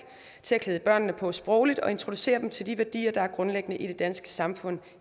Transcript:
til at klæde barnet på sprogligt og introducere dem til de værdier der er grundlæggende i det danske samfund